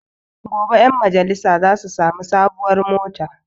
Gobe ƴan majalisa za su sami sabon mota